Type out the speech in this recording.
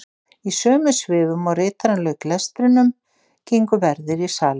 Í sömu svifum og ritarinn lauk lestrinum gengu verðir í salinn.